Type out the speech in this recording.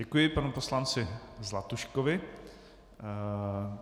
Děkuji panu poslanci Zlatuškovi.